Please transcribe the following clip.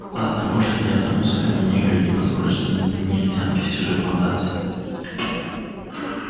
ладно больше ни одному своему негру не позволю жениться на негритянке с чужой плантации